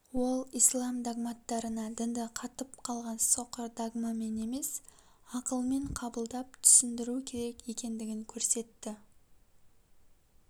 ол ислам догматтарына дінді катып қалған соқыр догмамен емес ақылмен қабылдап түсіндіру керек екендігін көрсетті